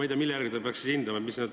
Aga mille järgi ta peaks siis hindama?